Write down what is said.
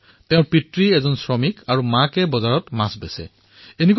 তেওঁৰ পিতৃ এজন শ্ৰমিক আৰু মাকে মাছ বিক্ৰী কৰি ঘৰ চলাই